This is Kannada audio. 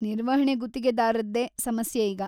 ನಿರ್ವಹಣೆ ಗುತ್ತಿಗೆದಾರ್ರದ್ದೇ ಸಮಸ್ಯೆ ಈಗ.